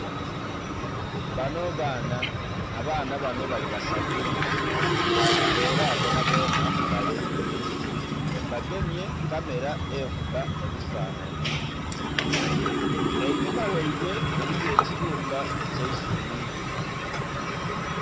Banho baana, abaana banho bali basatu era bona bona balenzi bagemye kamela ekubba ebifanhanhi, einhuma gheibwe eliyo ekiyumba ekye eisubi.